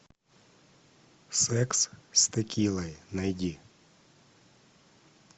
секс с текилой найди